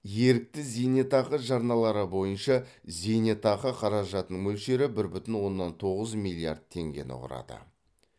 ерікті зейнетақы жарналары бойынша зейнетақы қаражатының мөлшері бір бүтін оннан тоғыз миллиард теңгені құрады